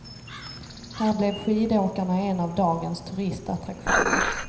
Här blev skidåkarna en av dagens turistattraktioner.